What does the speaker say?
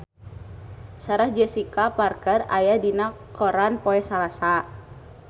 Sarah Jessica Parker aya dina koran poe Salasa